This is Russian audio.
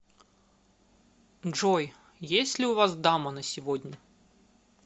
джой есть ли у вас дама на сегодня